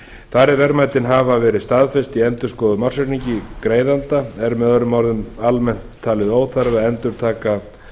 þar eð verðmætin hafa verið staðfest í endurskoðuðum ársreikningi greiðanda er með öðrum orðum almennt talið óþarfi að endurtaka